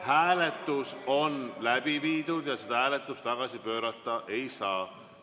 Hääletus on läbi viidud ja seda hääletust tagasi pöörata ei saa.